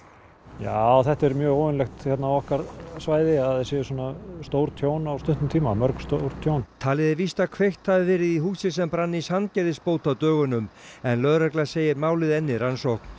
já þetta er mjög óvenjulegt á okkar svæði að það séu svona stór tjón á stuttum tíma mörg stór tjón talið er víst að kveikt hafi verið í húsi sem brann í Sandgerðisbót á dögunum en lögregla segir málið enn í rannsókn